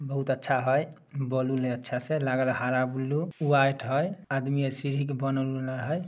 बहुत अच्छा है। बेलून है अच्छा से हरा बुल्लू है व्हाइट है आदमी है।